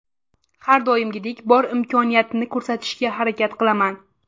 Har doimgidek bor imkoniyatini ko‘rsatishga harakat qilaman.